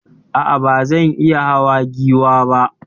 Aa, bazan iya hawa Giwa ba